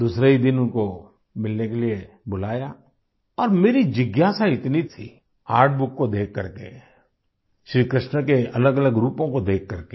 दूसरे ही दिन उनको मिलने के लिए बुलाया और मेरी जिज्ञासा इतनी थी आर्टबुक को देख कर के श्री कृष्ण के अलगअलग रूपों को देख करके